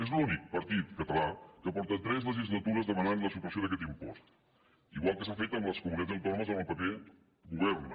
és l’únic partit català que fa tres legislatures que demana la supressió d’aquest impost igual que s’ha fet amb les comunitats autònomes on el pp governa